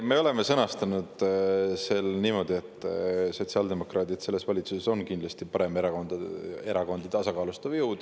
Me oleme sõnastanud selle niimoodi, et sotsiaaldemokraadid selles valitsuses on paremerakondi tasakaalustav jõud.